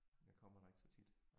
Jeg kommer der ikke så tit